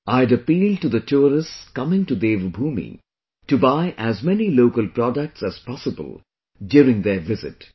I had appealed to the tourists coming to Devbhoomi to buy as many local products as possible during their visit